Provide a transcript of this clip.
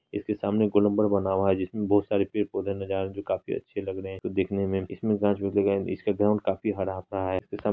इसके सामने गुलंबर बना हुआ है। जिसमें बहुत सारे पेड़-पौधे नजर आ रहे हैं जो काफी अच्छे लग रहे हैं जो दिखने में इसमे इसका ग्राउन्ड काफी हरा भरा है। इस --